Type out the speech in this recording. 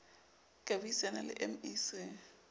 ka bui sana le mec